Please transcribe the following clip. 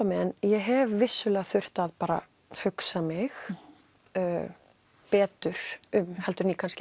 mig en ég hef þurft að hugsa mig betur um heldur en ég